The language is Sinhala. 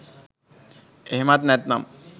එහෙමත් නැත්තම්